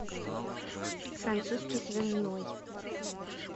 французский связной